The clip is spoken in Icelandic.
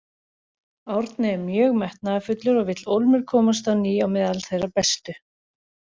Árni er mjög metnaðarfullur og vill ólmur komast á ný á meðal þeirra bestu.